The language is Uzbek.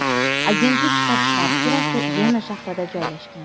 Agentlik shtab-kvartirasi Vena shahrida joylashgan.